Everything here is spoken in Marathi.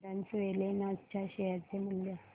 झायडस वेलनेस च्या शेअर चे मूल्य